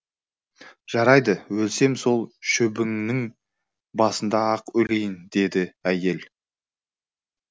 жарайды өлсем сол шөбіңнің басында ақ өлейін деді әйел